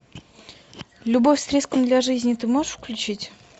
любовь с риском для жизни ты можешь включить